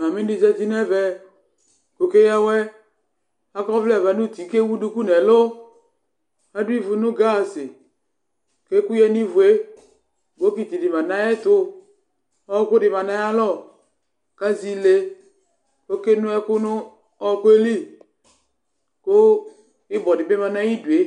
Mami di zã nu ũtí nu ɛvɛ Ku oke ya awɛ Akɔ ɔwlɛ wɛ nu ũtí, ku ewu ɖuku nu ɛlu Ãdu ivu nu gãazi, ku ɛku yã nu ivu yɛ Bokitiɖi mã nu ayɛtu, ɔɣɔkuɖi mã nu ayu alɔ, ku azɛ íle Okè nó ɛku nu ɔɣɔku yɛ li, ku íbɔɖi bi mã nu ayiɖue